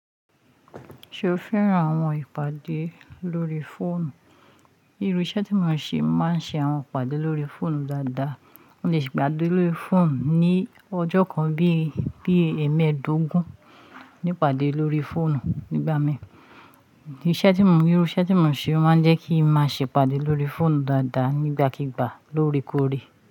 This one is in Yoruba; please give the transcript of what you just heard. Ṣé o féràn àwọn ìpàdé lórí fóònù? Irú iṣẹ́ tí mò ń ṣe máa ń ṣe àwọn ìpàdé lórí fóònù dáadáa. Mo lè ṣe ìpàdé lórí fóònù ní ọjọ́ kan bí i, bí i ẹmẹ́ẹdógún, ní ìpàdé lórí fóònù nígbà mi. Iṣẹ́ tí mò ń, irú iṣẹ́ tí mò ń ṣe máa ń jẹ́ kí n máa ṣe ìpàdé lórí fóònù dáadáa nígbàkigbà lóorekoore.